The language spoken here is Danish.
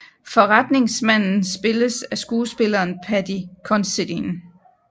Forretningsmanden spilles af skuespilleren Paddy Considine